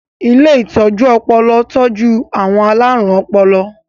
Ilé ìtọ́jú ọpọlọ tọ́jú àwọn alárùn ọpọlọ.